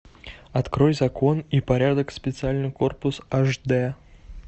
открой закон и порядок специальный корпус аш д